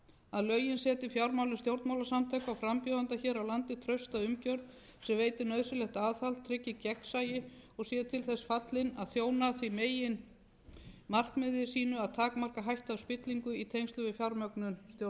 að lögin setji fjármálum stjórnmálasamtökum og frambjóðenda hér á landi trausta umgjörð sem veiti nauðsynlegt aðhald tryggi gegnsæi og séu til þess fallin að þjóna því meginmarkmiði sínu að takmarka hættu á spillingu í tengslum við fjármögnun stjórnmálastarfs greco tekur